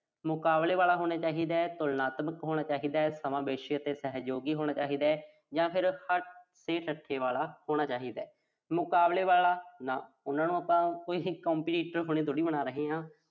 ਮੁਕਾਬਲੇ ਵਾਲੇ ਹੋਣਾ ਚਾਹੀਦਾ, ਤੁਲਨਾਤਮਕ ਹੋਣਾ ਚਾਹੀਦੈ, ਸਮਾਵੇਸ਼ੀ ਅਤੇ ਸਹਿਯੋਗੀ ਹੋਣਾ ਚਾਹੀਦਾ। ਜਾਂ ਫਿਰ ਵਾਲਾ ਹੋਣਾ ਚਾਹੀਦਾ। ਮੁਕਾਬਲੇ ਵਾਲਾ ਨਹੀਂ। ਉਨ੍ਹਾਂ ਨੂੰ ਆਪਾਂ ਕੋਈ competitor ਥੋੜ੍ਹੀ ਬਣਾ ਰਹੇ ਆਂ।